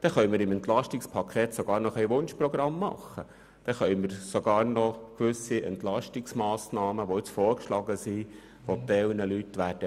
Dann können wir sogar noch gewisse vorgeschlagene Entlastungsmassnahmen, die einem Teil der Leute weh tun werden, beiseite lassen.